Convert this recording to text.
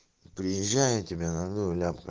приезжай я тебя найду ляпка